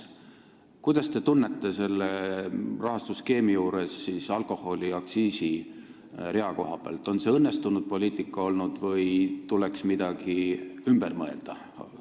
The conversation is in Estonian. Kuidas te praeguse rahastusskeemi alkoholiaktsiisi rea koha pealt tunnete, on see õnnestunud poliitika või tuleks midagi ümber mõelda?